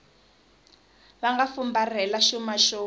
va nga fumbarhela xuma xo